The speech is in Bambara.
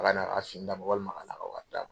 Ala ka n'a ka si d'a ma walima a ka t"a ka wari d'a ma.